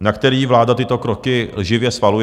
na který vláda tyto kroky lživě svaluje.